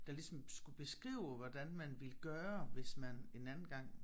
Der ligesom skulle beskrive hvordan man ville gøre hvis man en anden gang